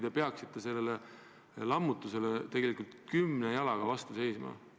Te peaksite sellele lammutusele tegelikult kümne küünega vastu seisma.